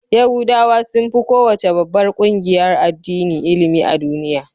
Yahudawa sun fi kowace babbar ƙungiyar addini ilimi a duniya.